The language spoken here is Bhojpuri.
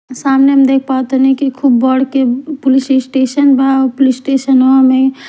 सामने हम देख पावत तानी खूब बढ़ के पुलिस स्टेशन बा और पुलिस स्टेशन वा में --